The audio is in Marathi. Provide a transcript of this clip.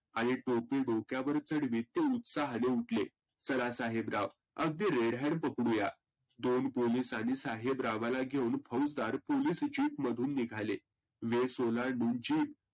आणि टोपी डोक्यावर चढवीत ते उत्साहाने उठले. चला साहेबराव अगदी red hand पकडुया. दोन पोलिस आणि साहेबरावाला घेऊन फौजदार पोलीस Jeep मधुन निघाले. वेश ओलांडून Jeep